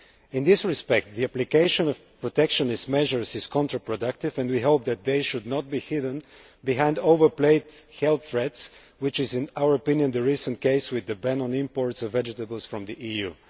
In this respect, the application of protectionist measures is counterproductive and we hope they will not be hidden behind overplayed health threats, which is, in our opinion, the recent case with the ban on imports of vegetables from the EU.